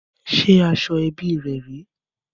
Ṣé aṣọ ẹbí rè rèé?